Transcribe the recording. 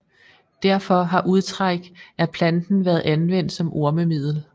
Derfor har udtræk af planten været anvendt som ormemiddel